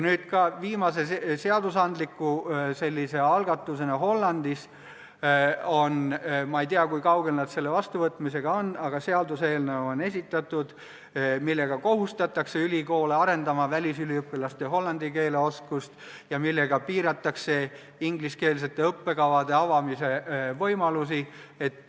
Nüüd, viimase seadusandliku algatusena on Hollandis esitatud seaduseelnõu – ma ei tea, kui kaugel nad selle vastuvõtmisega on –, millega kohustatakse ülikoole arendama välisüliõpilaste hollandi keele oskust ja piiratakse ingliskeelsete õppekavade avamise võimalusi.